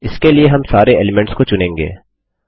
इसके लिए हम सारे एलीमेंट्स को चुनेंगे